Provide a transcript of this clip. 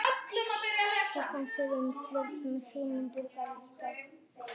Hvað fannst þér um þau svör sem að Sigmundur gaf í dag?